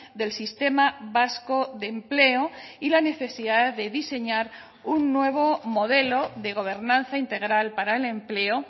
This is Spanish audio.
del sistema vasco de empleo y la necesidad de diseñar un nuevo modelo de gobernanza integral para el empleo